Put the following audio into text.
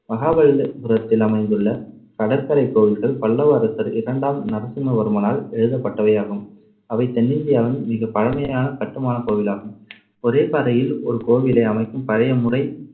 மகாபலிபுரத்தில் அமைந்துள்ள கடற்கரைக் கோவில்கள் பல்லவ அரசர் இரண்டாம் நரசிம்மவர்மனால் எழுத பட்டவை ஆகும். அவை தென்னிந்தியாவின் மிகப் பழமையான கட்டுமானக் கோவிலாகும். ஒரே பாறையில் ஒரு கோவிலை அமைக்கும் பழைய முறை